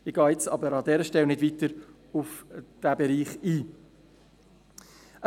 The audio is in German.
Ich gehe jedoch an dieser Stelle nicht weiter auf diesen Bereich ein.